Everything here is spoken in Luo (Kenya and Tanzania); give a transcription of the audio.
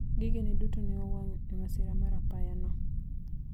vitu vyake vyote vilichomeka katika ajali hiyo